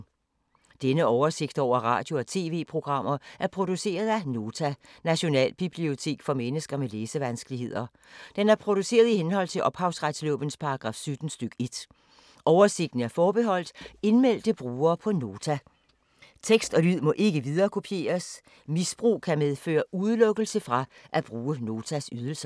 Denne oversigt over radio og TV-programmer er produceret af Nota, Nationalbibliotek for mennesker med læsevanskeligheder. Den er produceret i henhold til ophavsretslovens paragraf 17 stk. 1. Oversigten er forbeholdt indmeldte brugere på Nota. Tekst og lyd må ikke viderekopieres. Misbrug kan medføre udelukkelse fra at bruge Notas ydelser.